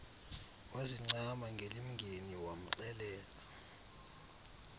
wazincama ngelingeni wamxelela